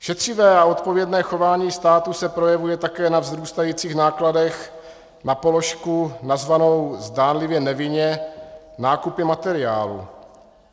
Šetřivé a odpovědné chování státu se projevuje také na vzrůstajících nákladech na položku nazvanou zdánlivě nevinně nákupy materiálu.